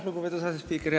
Lugupeetud asespiiker!